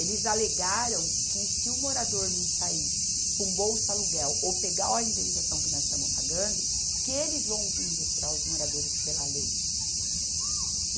Eles alegaram que se o morador não sair para um bolsa aluguel ou pegar a indenização que nós estamos pagando, que eles vão vir retirar os moradores pela lei.